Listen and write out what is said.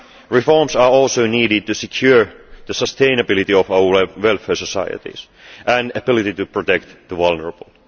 Reforms are also needed to secure the sustainability of our welfare societies and ability to protect the vulnerable.